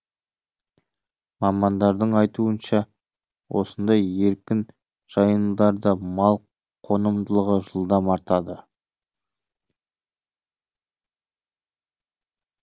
мамандардың айтуынша осындай еркін жайылымдарда мал қонымдылығы жылдам артады